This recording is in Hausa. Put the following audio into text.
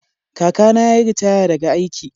Kakana ya yi ritaya daga aiki.